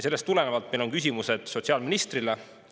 Sellest tulenevalt on meil küsimused sotsiaalministrile.